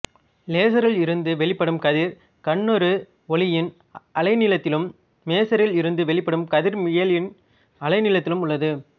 லேசரில் இருந்து வெளிப்படும் கதிர் கண்ணுரு ஒளியின் அலைநீளத்திலும் மேசரில் இருந்து வெளிப்படும் கதிர் மீயலையின் அலைநீளத்திலும் உள்ளது